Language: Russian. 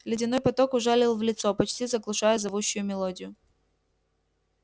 ледяной поток ужалил в лицо почти заглушая зовущую мелодию